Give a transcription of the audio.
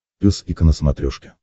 пес и ко на смотрешке